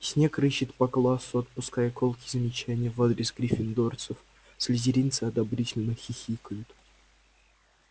снегг рыщет по классу отпуская колкие замечания в адрес гриффиндорцев слизеринцы одобрительно хихикают